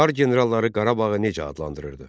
Çar generalları Qarabağı necə adlandırırdı?